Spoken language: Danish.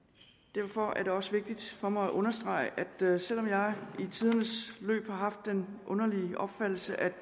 derfor er det også vigtigt for mig at understrege at selv om jeg i tidens løb har haft den underlige opfattelse at